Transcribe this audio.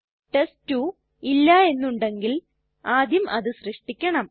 test two ഇല്ല എന്നുണ്ടെങ്കിൽ ആദ്യം അത് സൃഷ്ടിക്കണം